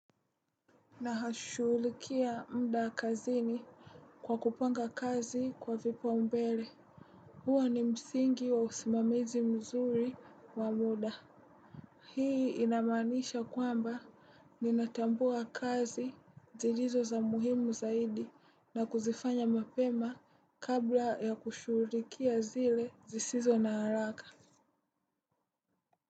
Na shughulikia muda kazini kwa kupanga kazi kwa vipaumbele. Huwa ni msingi wa usimamizi mzuri wa muda. Hii inamanisha kwamba ninatambua kazi zilizo za muhimu zaidi na kuzifanya mapema kabla ya kushughulikia zile zisizo na haraka.